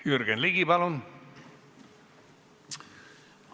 Jürgen Ligi, palun!